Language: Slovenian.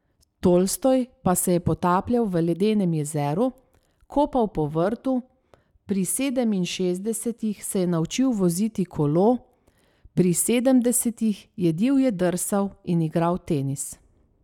Tolstoj pa se je potapljal v ledenem jezeru, kopal po vrtu, pri sedeminšestdesetih se je naučil voziti kolo, pri sedemdesetih je divje drsal in igral tenis.